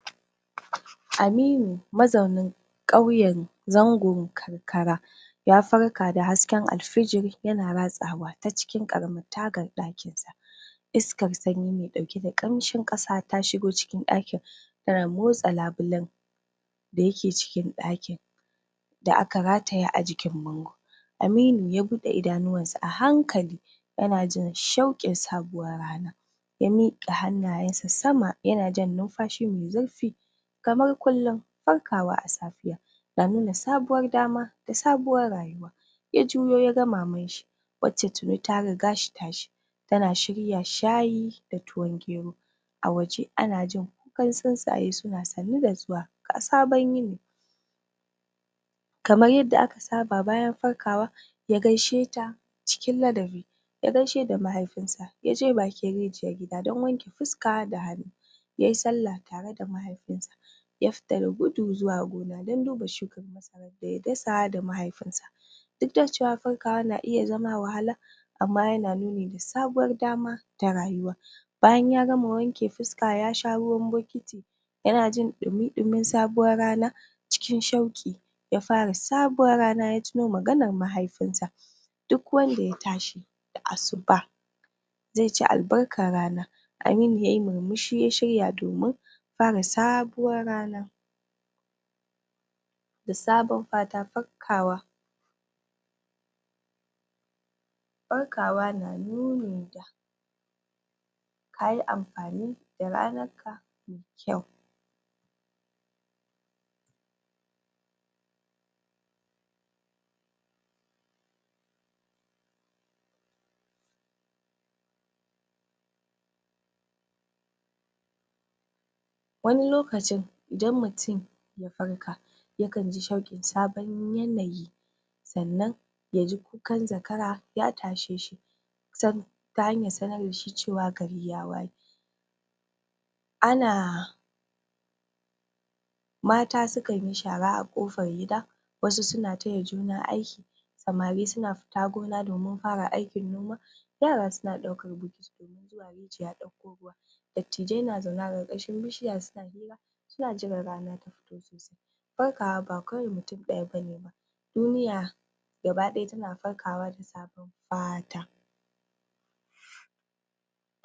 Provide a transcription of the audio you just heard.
Aminu mazaunin ƙauyan zango karkara ya farka da hasken alfijiri, yana ratsawa ta cikin ƙaramar tagar ɗakin sa iskar sanyi mai ɗauke da ƙamshin ƙasa ta shigo cikin ɗakin tana motsa labulan da yake cikin ɗakin da aka rataya a jikin bango Aminu ya buɗe idanuwan sa a hankali yana jin shauƙin sabuwar rana ya miƙa hannayansa sama yana jan numfashi mai zurfi kamar kullin farkawa a safiya da nuna sabuwar dama da sabuwar rayuwa ya juyo yaga Maman shi wacce tuni ta riga shi tashi tana shirya shayi da ruwan gero a waje ana jin kukan tsintsaye suna sannu da zuwa ga sabon yini kamar yadda aka saba bayan farkawa ya gaishe ta cikin ladabi ya gaishe da maihaifinsa, yaje bakin rijiyar gida dan wanke fuska da hannu yayi salla tare da maifinsa ya fita da gudu zuwa gona dan duba shukan masarar sa da ya dasa duk da cewa farkawar na iya zama wahala amma yana nuni da sabuwar dama ta rayuwa bayan ya gama wanke fuska yasha ruwan bokiti yana jin ɗumi ɗumin sabuwar rana cikin shauƙi ya fara sabuwar rana, ya tuno maganar mahaifinsa duk wanda ya tashi da asuba zai ci albarkar rana Aminu yayi murmushi ya shirya domin fara sabuwar rana da saban fata farkawa farkawa na nuni kayi amfani da ranar ka mai kyau wani lokacin idan mutum ya farka yakan ji shauƙin sabon yanayi sannan yaji kukan zakara ya tashe shi san ta hanyar sanar dashi cewa gari ya waye ana mata sukan yi shara a kofar gida wasu suna taya juna aiki samari suna fita gona domin aikin noma yara suna ɗaukan bokiti domin zuwa rijiya ɗauko ruwa tattijai na zaune a ƙarƙashin bishiya suna hira suna jiran rana ta fito sosai farkawa ba kawai mutum ɗaya bane duniya gaba ɗaya tana farkawa da sabon fata